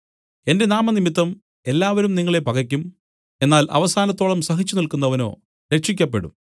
എന്റെ നാമംനിമിത്തം എല്ലാവരും നിങ്ങളെ പകയ്ക്കും എന്നാൽ അവസാനത്തോളം സഹിച്ചുനില്ക്കുന്നവനോ രക്ഷിയ്ക്കപ്പെടും